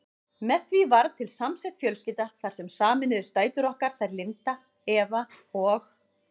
Með því varð til samsett fjölskylda þar sem sameinuðust dætur okkar, þær Linda, Eva og